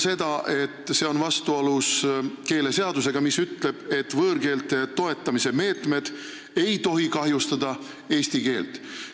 See on vastuolus keeleseadusega, mille järgi võõrkeelte toetamise meetmed ei tohi kahjustada eesti keelt.